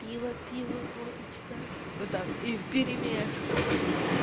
пиво пиво водочка вот так и вперемежку все